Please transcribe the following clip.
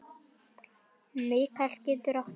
Mikael getur átt við